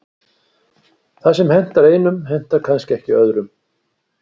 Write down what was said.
Það sem hentar einum hentar kannski ekki öðrum.